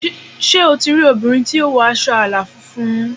Sé o ti rí obìnrin tí ó wọ aṣọ àlà funfun?